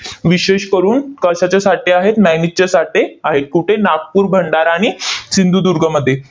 विशेष करून कशाचे साठे आहेत? manganese चे साठे आहेत. कुठे? नागपूर, भंडारा आणि सिंधुदुर्गमध्ये.